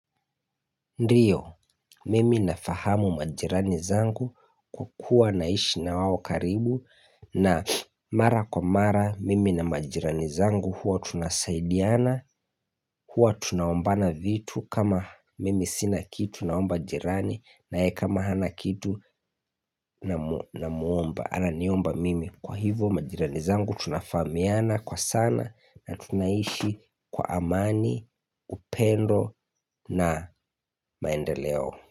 Ndiyo mimi nafahamu majirani zangu kukua naishi na wao karibu na mara kwa mara mimi na majirani zangu huwa tunasaidiana huwa tunaombana vitu kama mimi sina kitu naomba jirani naye kama hana kitu namuomba Ananiomba mimi kwa hivo majirani zangu tunafahamiana kwa sana na tunaishi kwa amani upendo na maendeleo.